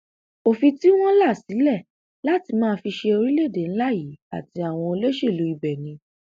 òfin tí wọn là sílẹ láti máa fi ṣe orílẹèdè ńlá yìí àti àwọn olóṣèlú ibẹ ni